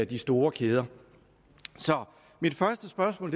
de store kæder så mit første spørgsmål